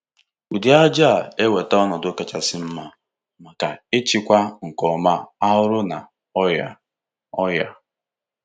Ụdị ájá a eweta ọnọdụ kachasị mma maka ichekwa nke ọma arụrụ na ọrịa. ọrịa.